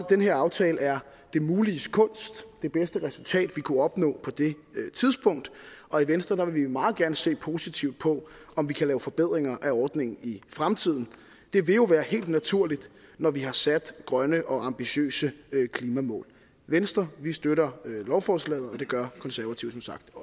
den her aftale er det muliges kunst det bedste resultat vi kunne opnå på det tidspunkt og i venstre vil vi meget gerne se positivt på om vi kan lave forbedringer af ordningen i fremtiden det vil jo være helt naturligt når vi har sat grønne og ambitiøse klimamål i venstre støtter vi lovforslaget og det gør konservative